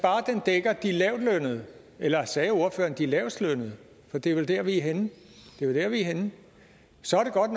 dækker de lavtlønnede eller sagde ordføreren de lavestlønnede for det er jo der vi er henne så er det godt